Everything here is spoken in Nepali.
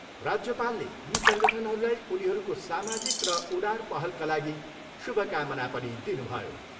राज्यपालले यी सङ्गठनहरूलाई उनीहरूको सामाजिक र उदार पहलका लागि शुभकामना पनि दिनुभयो।